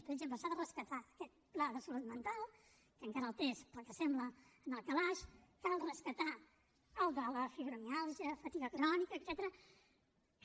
per exemple s’ha de rescatar aquest pla de salut mental que encara el té pel que sembla en el calaix cal rescatar el de la fibromiàlgia fatiga crònica etcètera que